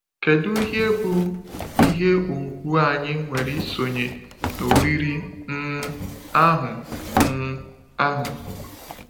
Kedu ihe bụ ihe ùgwù anyị nwere isonye n’oriri um ahụ! um ahụ!